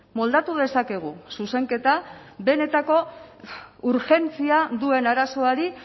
moldatu dezakegu zuzenketa benetako urgentzia duen arazoari